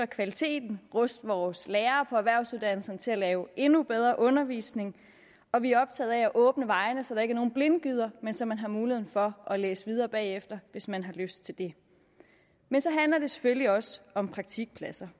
kvaliteten ruste vores lærere på erhvervsuddannelserne til at lave endnu bedre undervisning og vi er optaget af at åbne vejene så der ikke er nogen blindgyder men så man har muligheden for at læse videre bagefter hvis man har lyst til det men så handler det selvfølgelig også om praktikpladser